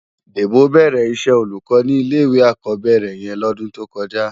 Debo bèrè iṣè ólúkò ni ilé iwé ákòbèrè yèn lòsè tókòjá